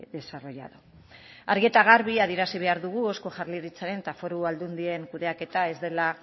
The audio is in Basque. desarrollado argi eta garbi adierazi behar dugu eusko jaurlaritzaren eta foru aldundien kudeaketa